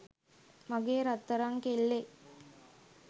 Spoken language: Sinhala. මගේ රත්තරං කෙල්ලේ